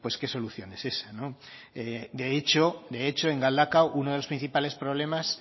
qué solución es esa no de hecho de hecho en galdakao uno de los principales problemas